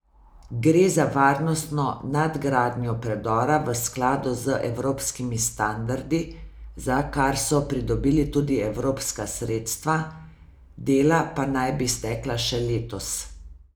Gre za varnostno nadgradnjo predora v skladu z evropskimi standardi, za kar so pridobili tudi evropska sredstva, dela pa naj bi stekla še letos.